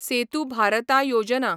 सेतू भारतां योजना